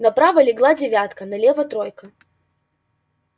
направо легла девятка налево тройка